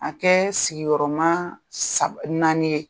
A kɛ sigiyɔrɔma naani ye.